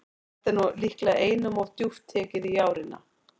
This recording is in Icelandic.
Þetta er nú líklega einum of djúpt tekið í árina.